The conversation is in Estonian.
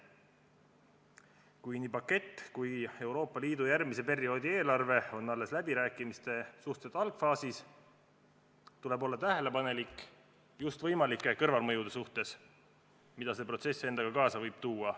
Kui nii pakett kui ka Euroopa Liidu järgmise perioodi eelarve on läbirääkimistel alles suhteliselt algses faasis, tuleb olla tähelepanelik just võimalike kõrvalmõjude suhtes, mida see protsess endaga kaasa võib tuua.